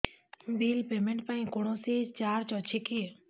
bill payment ପାଇଁ କୌଣସି charge ଅଛି କି